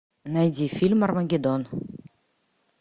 найди фильм армагеддон